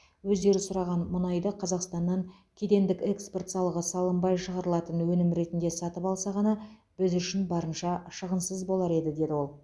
өздері сұраған мұнайды қазақстаннан кедендік экспорт салығы салынбай шығарылатын өнім ретінде сатып алса ғана біз үшін барынша шығынсыз болар еді деді ол